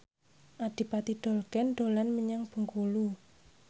Adipati Dolken dolan menyang Bengkulu